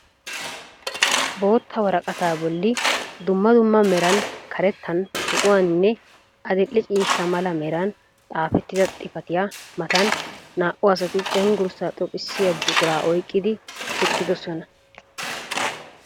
Bootta woraqata bolli dumma dumma meran karettan, zo'uwaaninne adil'e ciishsha mala meran xaafettida xipatiya matan naa"u asati cengursa xoqqissiya buquraa oyiqqidi eqqidosona.